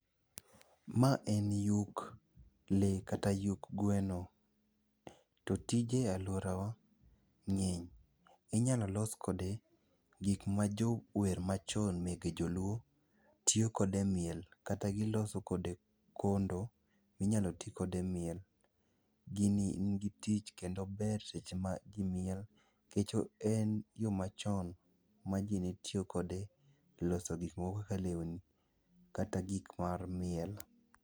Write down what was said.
Ma en yuk lee kata yuk gweno. To tije e alworawa ng'eny. Inyalo los kode gik ma jower machon mege joluo tiyo kode e miel kata giloso kode kondo minyalo ti kode e miel. Gini nigi tich kendo ober seche ma ji miel, nikech en yo machon ma ji ne tiyo kode e loso gik moko kaka lewni kata gik mar miel.